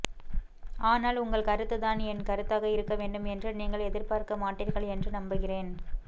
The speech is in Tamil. ஆனால் உங்கள் கருத்து தான் என் கருத்தாக இருக்க வேண்டும் என்று நீங்கள் எதிர்பார்க்க மாட்டீர்கள் என்று நம்புகிறேன்